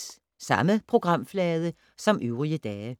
Samme programflade som øvrige dage